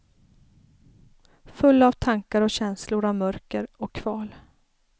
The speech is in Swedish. Full av tankar och känslor av mörker och kval.